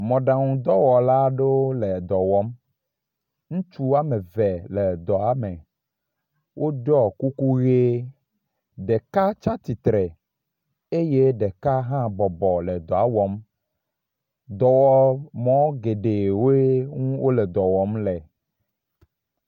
Mɔɖaŋudɔwɔla aɖewo le dɔwɔm, ŋutsu wome eve wole edɔa me, wo katã kuku ʋi, ɖeka tsi tsitre eye ɖeka hã bɔbɔ le dɔa wɔm, dɔwɔmɔ geɖe ŋue wole dɔ wɔm le